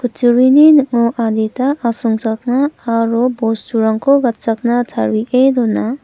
kutturini ning·o adita asongchakna aro bosturangko gatchakna tarie dona.